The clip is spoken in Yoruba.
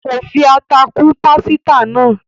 kọ fí atá kún pàsìta náa